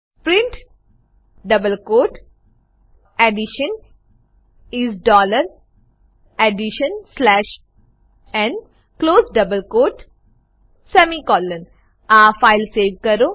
print double quote addition is dollar addition slash n close double quote semicolon આ file save કરો